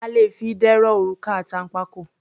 A le fi idẹ rọ òrùka àtànpàkò.